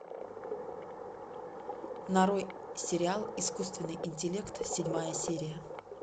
нарой сериал искусственный интеллект седьмая серия